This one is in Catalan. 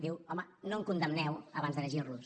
diu home no em condemneu abans de llegir los